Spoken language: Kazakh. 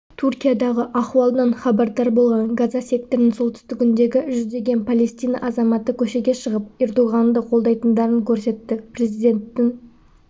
түркиядағы ахуалдан хабардар болған газа секторының солтүстігіндегі жүздеген палестина азаматы көшеге шығып ердоғанды қолдайтындарын көрсетті президенттің